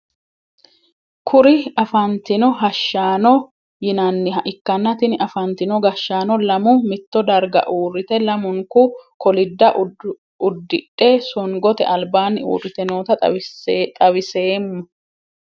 Kuri afantino hashshaano yinaniha ikana tini afantino gashaano lamu mitto darga uurite lamunku kolidda udidhe songote albaani uurite noota xawiseemo.